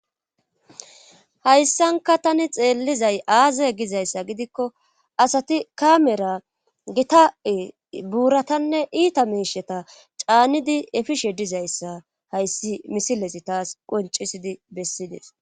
Hayssanka tani xeellizay aaza gizayssa gidikko asati kaamera gita7i buuratanne iita meisheta caanidi efishe dizayssa hayssi misilesi taas qoncisidi bessides.